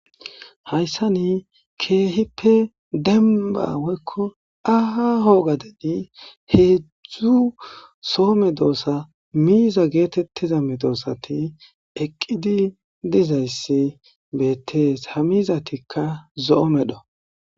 hayssa ni keehippe denba woykko aaho gadedi heedzzdzu soome doosa miiza geetettiza medoosati eqqidi dizayssi beettees ha miizatikka zo7o medho